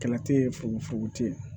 Kɛlɛ te ye fukofuko te yen